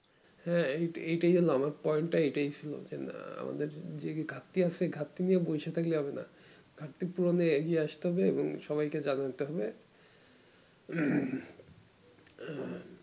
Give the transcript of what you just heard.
হ্যা এই এইটাই হলো আমার point টা হলো এটাই ছিল যে না আমাদের ঘাড়তি আসে ঘাটতি নিয়ে বসে থাকলে হবেনা ঘাড়তি পূরণে এগিয়ে আস্তে হবে এবং সবাইকে জানতে হবে